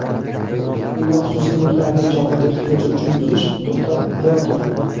uy va xususiy mulklarning "jamoat ehtiyoji" uchun buzish to‘xtamayotir.